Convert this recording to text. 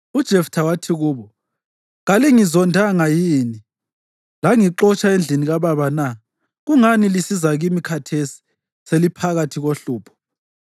UJeftha wathi kubo, “Kalingizondanga yini langixotsha endlini kababa na? Kungani lisiza kimi khathesi seliphakathi kohlupho?”